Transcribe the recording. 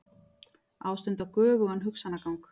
Ástunda göfugan hugsanagang.